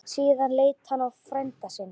Síðan leit hann á frænda sinn.